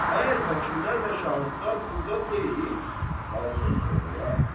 Əgər vəkillər və şahidlər burda deyil, qalsın sonraya.